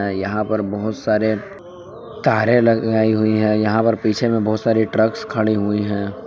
यहां पर बहोत सारे तारे लगाई हुई है यहां पर पीछे में बहोत सारे ट्रक्स खड़ी हुई है।